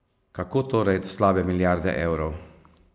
Kako torej do slabe milijarde evrov?